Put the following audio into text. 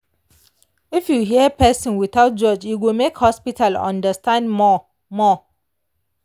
if you hear person without judge e go make hospital understand more. more.